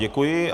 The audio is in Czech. Děkuji.